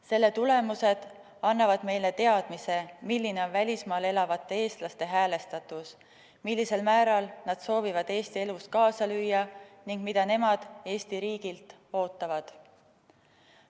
Selle tulemused annavad meile teadmise, milline on välismaal elavate eestlaste häälestatus, mil määral nad soovivad Eesti elus kaasa lüüa ning mida nemad Eesti riigilt ootavad.